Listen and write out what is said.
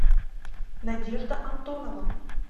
надежда антонова